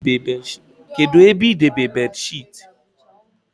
Kedụ ebe idebe beedịsheetị?